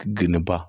Geni ba